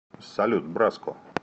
салют браско